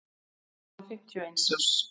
hann var fimmtíu og einn árs